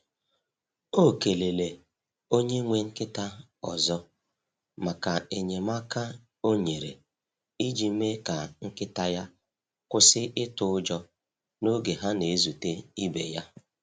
O kelele onye nwe nkịta ọzọ maka enyemaka o nyere iji mee ka nkịta ya kwụsị itụ ụjọ n’oge ha na-ezute ibe ya.